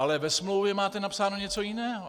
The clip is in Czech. Ale ve smlouvě máte napsáno něco jiného.